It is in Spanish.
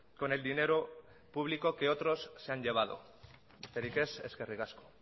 con el dinero público que otros se han llevado besterik ez eskerrik asko